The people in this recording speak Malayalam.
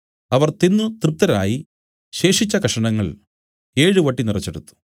അവർ തിന്നു തൃപ്തരായി ശേഷിച്ച കഷണങ്ങൾ ഏഴ് വട്ടി നിറച്ചെടുത്തു